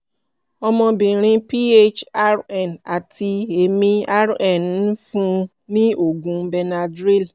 ọmọbìnrin ph rn àti èmi rn ń fún un ní oògùn benadryl